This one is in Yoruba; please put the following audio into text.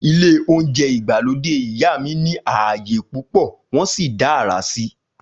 Ilé óúnjẹ ìgbàlódé ìyá mi ní ààyè púpò wọn sì dá àrà síi